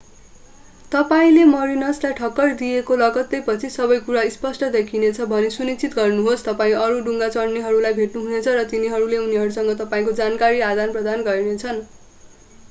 तपाईंले मरीनसलाई ठक्कर दिएको लगत्तैपछि सबैकुरा स्पष्ट देखिनेछ भनी सुनिश्चित गर्नुहोस् तपाईं अरू डुङ्गा चढ्नेहरूलाई भेट्नुहुनेछ र तिनीहरूले उनीहरूसँग तपाईंको जानकारी आदानप्रदान गर्नेछन्